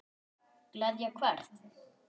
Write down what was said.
Gleðja hvern?